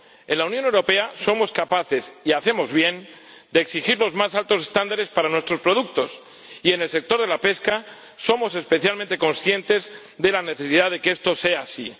En la Unión Europea somos capaces —y hacemos bien— de exigir los más altos estándares para nuestros productos y en el sector de la pesca somos especialmente conscientes de la necesidad de que esto sea así.